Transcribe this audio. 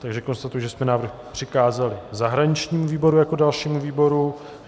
Takže konstatuji, že jsme návrh přikázali zahraničnímu výboru jako dalšímu výboru.